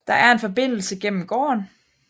Der er en Forbindelse gennem gården